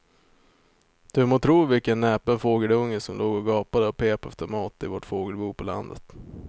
Du må tro vilken näpen fågelunge som låg och gapade och pep efter mat i vårt fågelbo på landet.